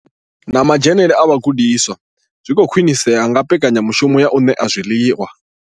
Na madzhenele a vhagudiswa zwi khou khwinisea nga mbekanya mushumo ya u ṋea zwiḽiwa.